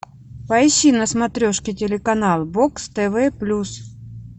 поищи на смотрешке телеканал бокс тв плюс